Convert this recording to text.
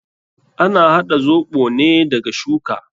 Ana haɗa zoɓo ne daga shuka.